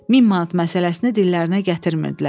Min manat məsələsini dillərinə gətirmirdilər.